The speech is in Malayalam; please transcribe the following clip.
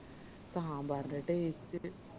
സാമ്പാറിൻറെ taste